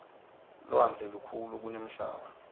lwandle lukhulu kunemhlaba